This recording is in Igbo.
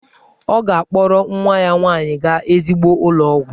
Ọ ga-akpọrọ nwa ya nwanyị gaa ezigbo ụlọ ọgwụ.